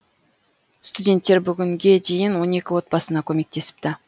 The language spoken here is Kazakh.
студенттер бүгінге дейін он екі отбасына көмектесіпті